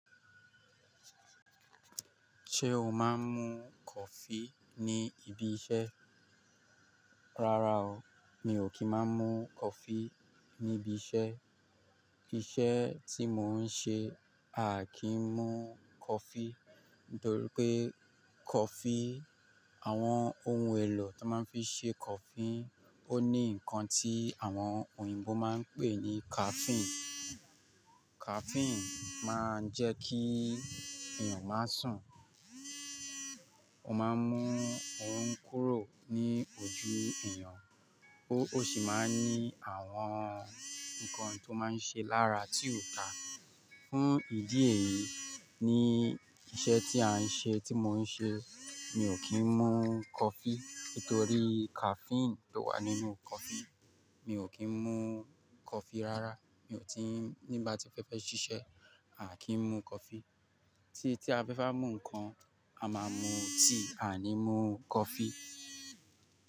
Ṣé o máa ń mu coffee ní ibi iṣẹ́? Rárá o, mi ò kí ń má mu coffee níbi iṣẹ́. Iṣẹ́ tí mò ń ṣe, a kì í mu coffee nítorí pé coffee, àwọn ohun èlò tó máa ń fi ṣe coffee ó ní nǹkan tí àwọn òyìnbó máa ń pè ní caffeine. Caffeine máa ń jẹ́ kí èèyàn má sùn, ó máa ń mú orun kúrò ní ojú èèyàn, ó sì máa ń ní àwọn nǹkan tí ó máa ń ṣe lára tí ó dá. Fún ìdí èyí, ní iṣẹ́ tí a ń ṣe, tí mò ń ṣe, mi ò kí ń mu coffee nítorí caffeine tó wà nínú coffee. Mi ò kí ń mu coffee rárá. Mi ò tí-- nígbà tí fẹ́ fẹ́ ṣiṣẹ́, a kì í mu coffee. Tí a fẹ́ bá mu nǹkan, a máa mu tíì, a ni mú coffee.